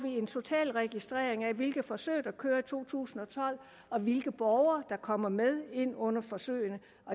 en total registrering af hvilke forsøg der kører i to tusind og tolv og hvilke borgere der kommer med ind under forsøgene